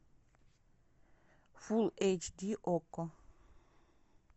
фулл эйч ди окко